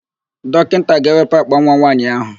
Dọkịnta ga-ewepụ àkpànwa nwaanyị áhụ̀.